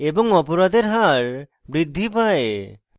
এবং অপরাধের হার বৃদ্ধি পায়